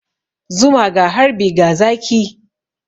Zuma ga harbi ga zaki.